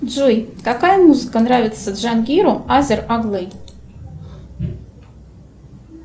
джой какая музыка нравится джангиру азер оглы